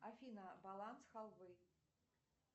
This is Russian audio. афина баланс халвы